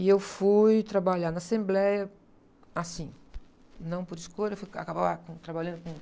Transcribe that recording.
E eu fui trabalhar na Assembleia, assim, não por escolha, eu fui acabar com, trabalhando com o...